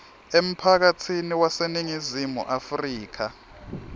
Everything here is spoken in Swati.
emphakatsini waseningizimu afrika